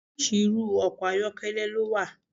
Oríṣiríṣi irú ọkọ̀ ayọ́kẹ́lẹ́ ló wà.